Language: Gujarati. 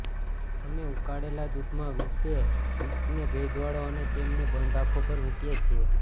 અમે ઉકાળેલા દૂધમાં વિસ્ડે ડિસ્કને ભેજવાળો અને તેમને બંધ આંખો પર મુકીએ છીએ